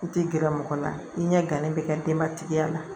I tɛ gɛrɛ mɔgɔ la i ɲɛ gannen bɛ ka denbatigiya la